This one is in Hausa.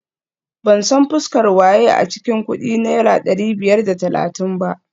Ban san fuskar waye a cikin kudin naira dari biyar da talatin ba